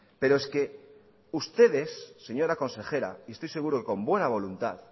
pero es que ustedes señora consejera y estoy seguro que con buena voluntad